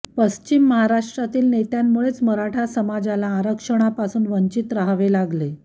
पश्चिम महाराष्ट्रातील नेत्यांमुळेच मराठा समाजाला आरक्षणापासून वंचित रहावे लागले